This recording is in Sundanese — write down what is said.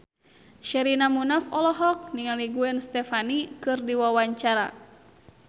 Sherina Munaf olohok ningali Gwen Stefani keur diwawancara